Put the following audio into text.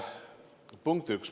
Punkt üks.